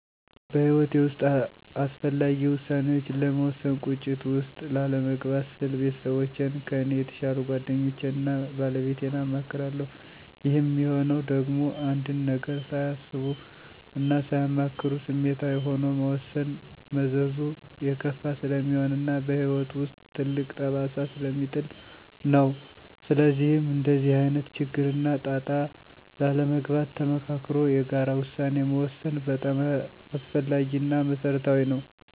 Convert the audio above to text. በሕይወቴ ውስጥ አስፈላጊ ውሳኔዎችን ለመወሰን ቁጭት ውስጥ ላለመግባት ስል ቤተሰቦቼን; ከኔ የተሻሉ ጓደኞቼን እና ባለቤቴን አማክራለሁ። ይህም ሚሆነው ደግሞ አንድን ነገር ሳያስቡ እና ሳያማክሩ ስሜታዊ ሆኖ መወሰን መዘዙ የከፋ ስለሚሆን እና በህይወት ውስጥ ትልቅ ጠባሳ ስለሚጥል ነው። ስለዚህም እንደዚህ አይነት ችግር እና ጣጣ ላለመግባት ተመካክሮ የጋራ ውሳኔ መወሰን በጣም አስፈላጊ እና መሰረታዊ ነው።